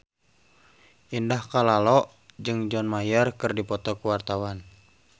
Indah Kalalo jeung John Mayer keur dipoto ku wartawan